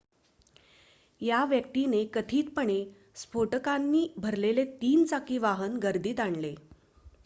त्या व्यक्तीने कथितपणे स्फोटकांनी भरलेले 3-चाकी वाहन गर्दीत आणले